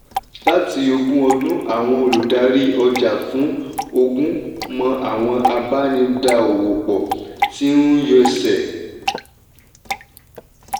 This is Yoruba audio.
láti ogún ọdún àwọn olùdarí ọjà fún ogún mọ́ àwọn abá ní dá owó pò tí ń yọ ẹsẹ́.